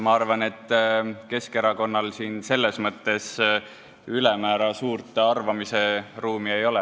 Ma arvan, et Keskerakonnal selles mõttes ülemäära suurt arvamise ruumi ei ole.